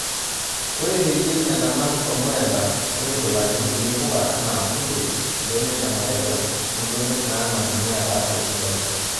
Ore peyie enanau ormurenda neitushulakini kulie puka enaa kunde ,mbenek emareja oombenek naanana neata afia sidai.